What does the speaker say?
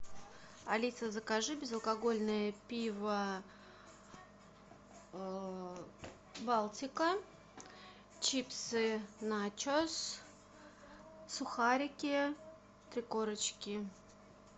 алиса закажи безалкогольное пиво балтика чипсы начос сухарики три корочки